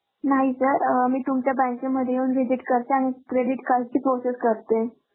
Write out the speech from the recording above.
नाही sir मी तुमच्या बँकेमध्ये येऊन visit करते आणि credit card ची process करते